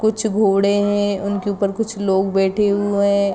कुछ घोड़े है उन के उपर कुछ लोग बैठे हुए है ।